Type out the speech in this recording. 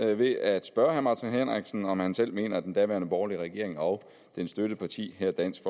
ved at spørge herre martin henriksen om han selv mener at den daværende borgerlige regering og dens støtteparti her dansk